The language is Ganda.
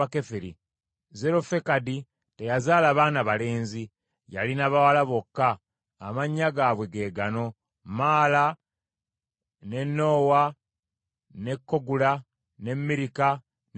Zerofekadi teyazaala baana balenzi, yalina bawala bokka, amannya gaabwe ge gano: Maala, ne Noowa ne Kogula ne Mirika ne Tiruza.